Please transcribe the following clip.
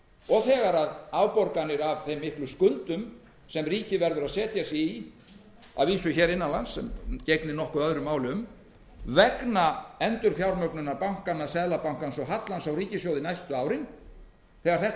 og þegar afborganir af þeim miklu skuldum bætast við sem ríkið verður að setja sig í að vísu hér innanlands sem gegnir nokkuð öðru máli um vegna endurfjármögnunar bankanna seðlabankans og hallans á ríkissjóði næstu árin hvernig verður staðan þegar þetta